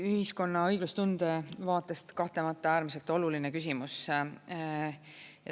Ühiskonna õiglustunde vaatest kahtlemata äärmiselt oluline küsimus.